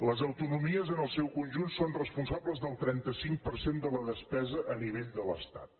les autonomies en el seu conjunt són responsables del trenta cinc per cent de la despesa a nivell de l’estat